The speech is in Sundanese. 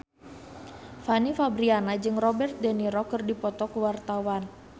Fanny Fabriana jeung Robert de Niro keur dipoto ku wartawan